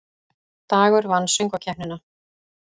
Dagur vann Söngkeppnina